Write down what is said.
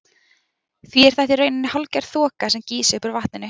Því er þetta í rauninni hálfgerð þoka sem gýs upp úr vatninu.